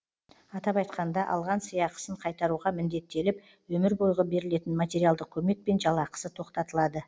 атап айтқанда алған сыйақысын қайтаруға міндеттеліп өмір бойғы берілетін материалдық көмек пен жалақысы тоқтатылады